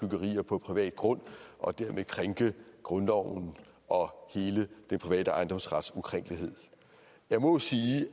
byggerier på privat grund og dermed krænke grundloven og hele den private ejendomsret jeg må sige